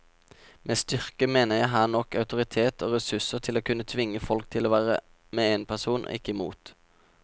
Med styrke mener jeg her nok autoritet og ressurser til å kunne tvinge folk til å være med en person, ikke mot.